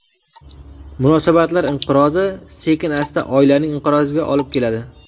Munosabatlar inqirozi sekin-asta oilaning inqiroziga olib keladi.